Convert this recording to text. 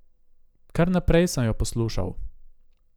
Kar naprej sem jo poslušal.